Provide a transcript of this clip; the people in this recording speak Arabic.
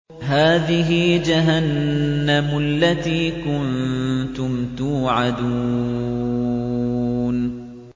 هَٰذِهِ جَهَنَّمُ الَّتِي كُنتُمْ تُوعَدُونَ